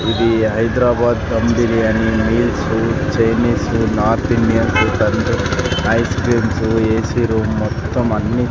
ఇది హైదరాబాద్ దబ్ biryani meals Chinese north Indian ice creams AC room మొత్తం అన్ని.